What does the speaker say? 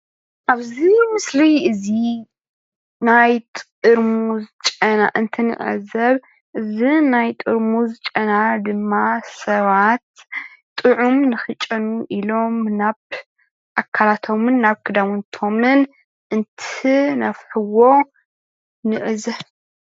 ኣብዚ ምስሊ እዚ ናይ ጥርሙዝ ጨና እንትንዕዘብ እዚ ናይ ጥርሙዝ ጨና ድማ ሰባት ጥዑም ንክጨንው ኢሎም ናብ ኣካላቶምን ናብ ክዳውንቶምን እንትነፍሕዎ ንዕዘብ።